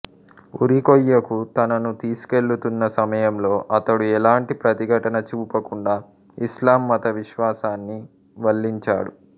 ఉరికొయ్యకు తనను తీసుకెళుతున్న సమయంలో అతడు ఎలాంటి ప్రతిఘటన చూపకుండా ఇస్లాం మత విశ్వాసాన్ని వల్లించాడు